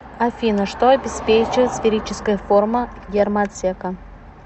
афина что обеспечивает сферическая форма гермоотсека